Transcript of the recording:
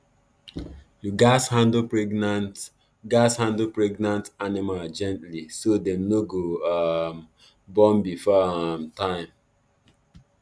you gatz handle pregnant gatz handle pregnant animal gently so dem no go um born before um time